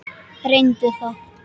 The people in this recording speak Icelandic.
Reyndu það.